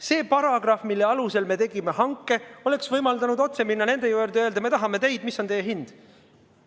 See paragrahv, mille alusel me tegime hanke, oleks võimaldanud otse minna nende juurde ja öelda, et me tahame teid, ja küsida, mis on teie hind.